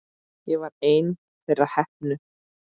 Ég var ein þeirra heppnu.